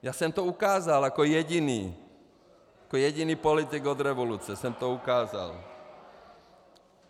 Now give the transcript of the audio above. Já jsem to ukázal jako jediný , jako jediný politik od revoluce jsem to ukázal.